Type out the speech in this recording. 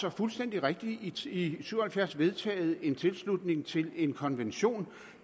er fuldstændig rigtigt i syv og halvfjerds vedtaget en tilslutning til en konvention